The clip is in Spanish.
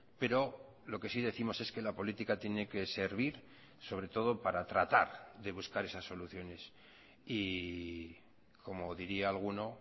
pero lo que sí décimos es que la política tiene que servir sobre todo para tratar de buscar esas soluciones y como diría alguno